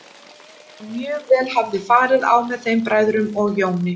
En mjög vel hafði farið á með þeim bræðrum og Jóni.